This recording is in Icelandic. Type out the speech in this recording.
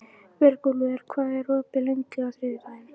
Björgúlfur, hvað er opið lengi á þriðjudaginn?